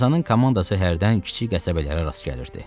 Tarzanın komandası hərdən kiçik qəsəbələrə rast gəlirdi.